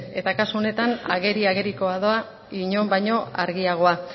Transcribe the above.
eta kasu honetan ageri agerikoa doa inon baino argiagoa